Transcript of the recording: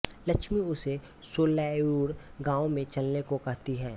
लक्ष्मी उसे सोलैयुर गांव में चलने को कहती है